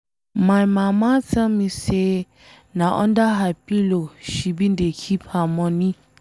My mama tell me say na under her pillow she bin dey keep her money.